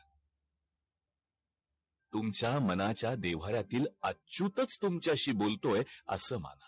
तुमचा मनाचा देव्हाऱ्यातील अच्युतच तुमच्याशी बोलतोय आस माना